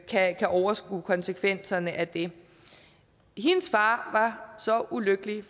kan overskue konsekvenserne af det hendes far var så ulykkelig og